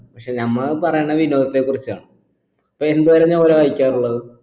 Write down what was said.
പക്ഷെ നമ്മ പറയണ്ടത് വിനോദത്തെ കുറിച്ചാണ് അപ്പൊ എന്തൊര novel ആ വായിക്കാറുള്ളത്